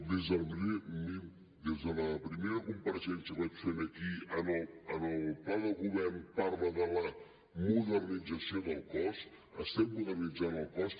des de la primera compareixença que vaig fer aquí en el pla de govern parla de la modernització del cos estem modernitzant el cos